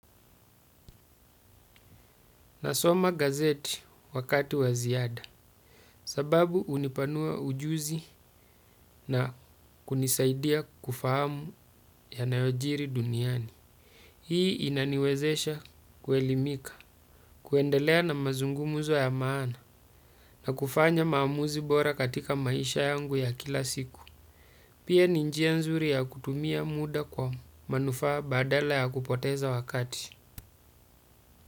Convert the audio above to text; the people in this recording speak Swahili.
Nasoma gazeti wakati waziada, sababu unipanua ujuzi na kunisaidia kufahamu ya yanayojiri duniani. Hii inaniwezesha kwelimika, kuendelea na mazungumuzo ya maana, na kufanya maamuzi bora katika maisha yangu ya kila siku. Pia ninjia nzuri ya kutumia muda kwa manufaa badala ya kupoteza wakati.